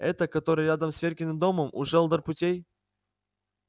эта которая рядом с веркиным домом у желдор путей